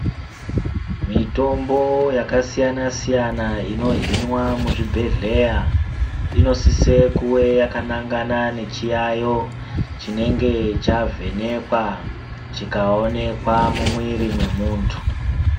Mitombo yaka siyana siyana ino hinwa mu zvibhedhleya inosise kuve yaka nangana ne chiyayo chinenge chavhenekwa chika onekwa mu mwiri me muntu.